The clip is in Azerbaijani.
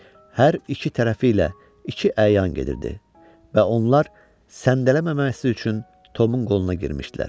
Hər iki tərəfi ilə iki əyan gedirdi və onlar səndələməməsi üçün Tomun qoluna girmişdilər.